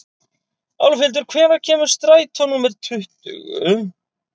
Álfhildur, hvenær kemur strætó númer tuttugu?